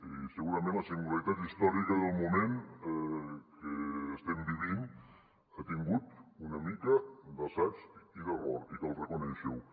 i segurament la singularitat històrica del moment que estem vivint ha tingut una mica d’assaig i d’error i cal reconèixer ho